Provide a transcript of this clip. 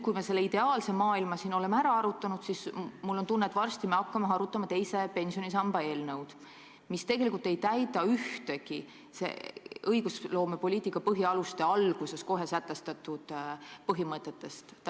Kui me selle ideaalse maailma oleme siin ära arutanud, siis varsti me vist hakkame arutama teise pensionisamba eelnõu, mis tegelikult ei järgi ühtegi õiguspoliitika põhialuste alguses sätestatud põhimõtetest.